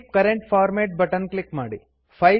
keep current format button click ಮಾಡಿ